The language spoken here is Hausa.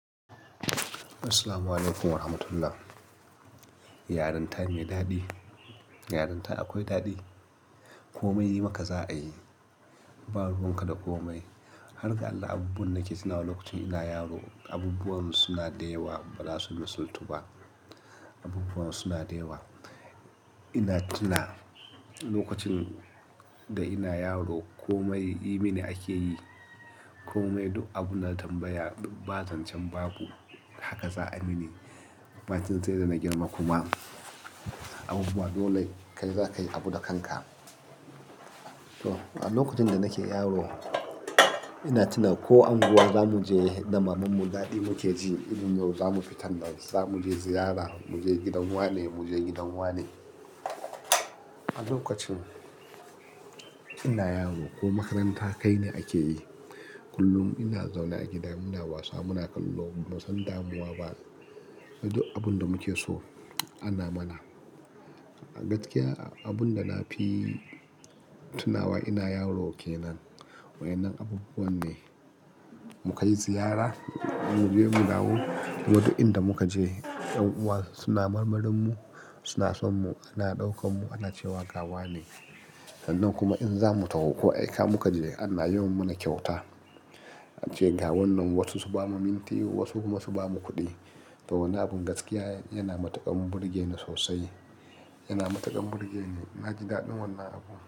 Assalamualaikum warahmatullah. Yarinta mai daɗi, yarinta akwai daɗi. Komai yi maka za a yi. Ba ruwan ka da komai. Har ga Allah abubuwan nake tunawa lokacin ina yaro abubuwan suna da yawa ba za su misaltu ba. Abubuwan suna da yawa. Ina tuna lokacin da ina yaro komai yi mini ake yi. Komai duk abun da na tambaya, duk bazancen babu. Haka za a yi mini. Bacin sai da na girma kuma abubuwa dole kai zaka yi abu da kanka. To, a lokacin da nake yaro ina tuna ko anguwa zamu je da mamanmu daɗi muke ji, in yau zamu fita da zamu je ziyara, mu je gidan wane, mu je gidan wane. A lokacin ina yaro ko makaranta kai ni ake yi. Kullum ina zaune a gida muna wasa muna kallo, ban san damuwa ba. Duk abun da muke so ana mana. A gaskiya abun da na fi tunawa ina yaro kenan. Wa ƴan nan abubuwan ne. Mu kai ziyara, mu je mu dawo, kuma duk inda muka je 'yan uwa suna marmarin mu, suna son mu, ana daukan mu ana cewa gawa ne. Sannan kuma in za mu taho ko aika muka je ana yawan mana kyauta. Ace ga wannan wasu su ba mu minti wasu kuma su ba mu kuɗi. To wannan abun gaskiya yana matuƙan burge ni sosai. Yana matuƙan burge ni. Na ji daɗin wannan abun.